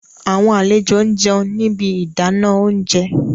Awọn alejo n jẹun ni ibi idana ounjẹ